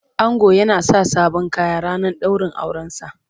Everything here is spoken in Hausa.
Ango yana sa sabon Kaya ranar daurin aure sa.